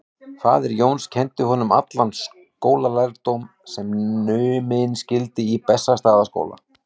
Faðir Jóns kenndi honum allan skólalærdóm sem numinn skyldi í Bessastaðaskóla.